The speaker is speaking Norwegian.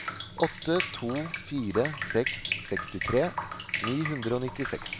åtte to fire seks sekstitre ni hundre og nittiseks